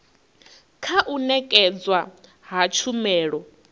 kha u nekedzwa ha tshumelo